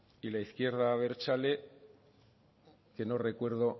y la izquierda abertzale que no recuerdo